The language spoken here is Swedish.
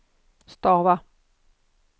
stava